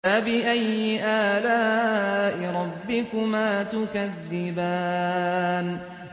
فَبِأَيِّ آلَاءِ رَبِّكُمَا تُكَذِّبَانِ